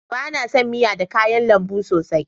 Ba na son miya da kayan lambu sosai